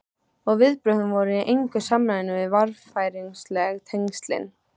Og viðbrögðin voru í engu samræmi við varfærnisleg tengslin.